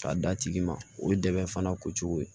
K'a d'a tigi ma o ye dɛmɛ fana ko cogo ye